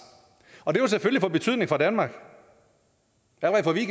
og det vil selvfølgelig få betydning for danmark derfor vil